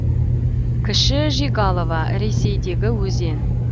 кіші жигалова ресейдегі өзен